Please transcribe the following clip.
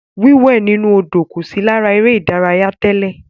Wíwẹ̀ inú Odò kò sí lára eré ìdárayá tẹ́lẹ̀.